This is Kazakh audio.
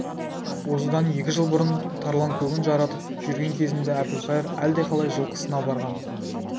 осыдан екі жыл бұрын тарланкөгін жаратып жүрген кезінде әбілқайыр әлдеқалай жылқысына барған